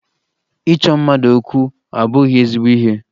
Ịchọ mmadụ okwu abụghị ezigbo ihe